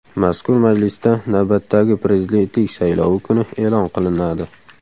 Mazkur majlisda navbatdagi prezidentlik saylovi kuni e’lon qilinadi.